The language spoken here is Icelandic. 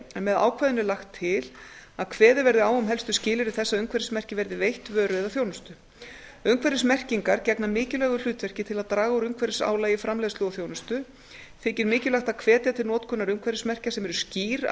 c með ákvæðinu er lagt til að kveðið verði á um helstu skilyrði þess að umhverfismerkið verði veitt vöru eða þjónustu umhverfismerkingar vegna mikilvægu hlutverki til að draga úr umhverfisálagi í framleiðslu og þjónustu þykir mikilvægt að hvetja til notkunar umhverfismerkja sem eru skýr